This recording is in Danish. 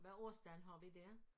Hvad årstal har vi dér